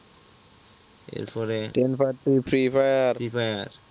ten পাত্তি free fire